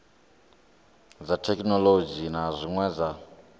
dza thekhinolodzhi na zwine dza